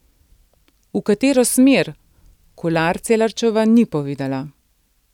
V katero smer, Kolar Celarčeva ni povedala.